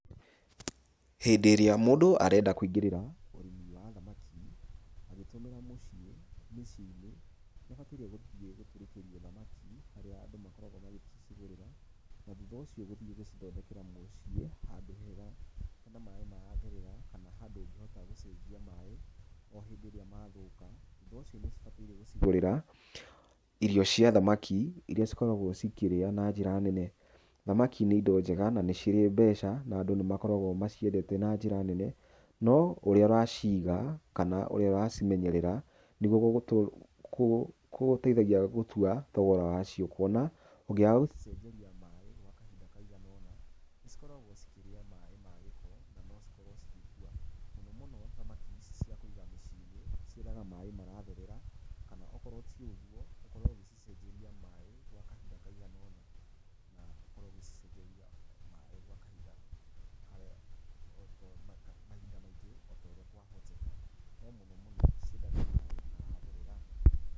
Hĩndĩ ĩrĩa mũndũ arenda kũingĩrĩra ũrĩmi wa thamaki agĩtũmĩra mũciĩ mĩciĩ-inĩ nĩ abataire gũthiĩ thamaki, harĩa andũ makoragwo magĩkĩcigũrĩra. Na thutha ũcio gũthiĩ gũcithondekera mũciĩ handũ hega hena maaĩ maratherera, kana handũ ũngĩhota gũcenjia maaĩ o hĩndĩ ĩrĩa mathũka. Thutha ũcio nĩ ũcibataire gũcigũrĩra irio cia thamaki iria cikoragwo cikĩrĩa na njĩra nene. Thamaki nĩ indo njega na nĩ cirĩ mbeca, na nadũ nĩ makoragwo maciendete na njĩra nene. No ũrĩa ũraciiga, kana ũrĩa ũracimenyerera nĩguo kũgũteithagia gũtua thogora wacio, kũona, ũngĩaga gũcicenjeria maaĩ gwa kahinda kaigana ũna, nĩ cikoragwo cikĩrĩa maaĩ magĩko na no cikorwo cigĩkua. Mũnomũno, thamaki ici cia kũiga mĩciĩ-inĩ ciendaga maaĩ maratherera kana okorwo ti ũguo, ũkorwo ũgĩcicenjeria maaĩ gwa kahinda kaigana ũna na ũkorwo ũgĩcicenjeria maaaĩ gwa kahinda karĩa, mahinda maingĩ o ta ũrĩa kwahoteka. No mũnomũno ciendaga maaĩ maratherera.